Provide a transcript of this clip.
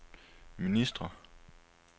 ministre